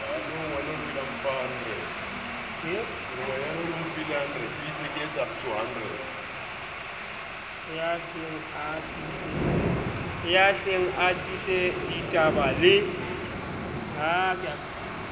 ya hleng a tiiseditaba le